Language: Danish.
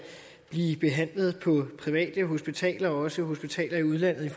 blive behandlet på privathospitaler og også hospitaler i udlandet